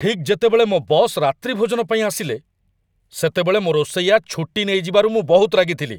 ଠିକ୍ ଯେତେବେଳେ ମୋ ବସ୍ ରାତ୍ରିଭୋଜନ ପାଇଁ ଆସିଲେ, ସେତେବେଳେ ମୋ ରୋଷେଇଆ ଛୁଟି ନେଇଯିବାରୁ ମୁଁ ବହୁତ ରାଗିଥିଲି।